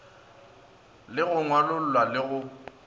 le go ngwalolla le go